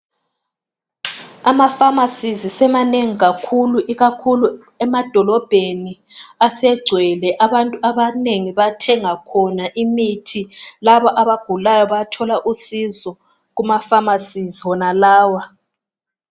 Amapharmacies semanengi kakhulu ikakhulu emadolobheni asegcwele abantu abanengi bathenga khona imithi laba abagulayo bayathola usizo Kuma pharmacies wona lawa.